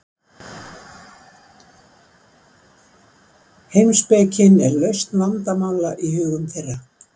heimspekin er lausn vandamála í hugum þeirra